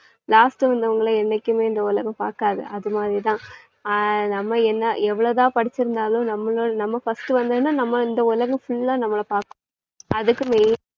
last வந்தவங்கள என்னைக்குமே இந்த உலகம் பாக்காது அது மாதிரிதான் அஹ் நம்ம என்ன எவ்ளோதான் படிச்சிருந்தாலும் நம்மளோ~ நம்ம first வந்திருந்தா நம்ம இந்த உலகம் full ஆ நம்மளை பாக்கும். அதுக்கு main